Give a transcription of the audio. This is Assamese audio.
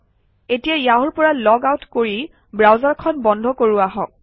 এতিয়া য়াহুৰ পৰা লগ আউট কৰি ব্ৰাউজাৰখন বন্ধ কৰোঁ আহক